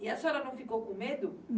E a senhora não ficou com medo?